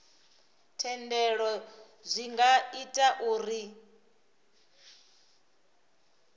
thendelo zwi nga ita uri